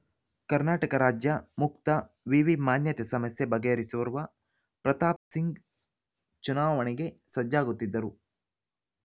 ಕರ್ನಾಟಕ ರಾಜ್ಯ ಮುಕ್ತ ವಿವಿ ಮಾನ್ಯತೆ ಸಮಸ್ಯೆ ಬಗೆಹರಿಸಿರುವ ಪ್ರತಾಪ್‌ಸಿಂಗ್ ಚುನಾವಣೆಗೆ ಸಜ್ಜಾಗುತ್ತಿದ್ದರು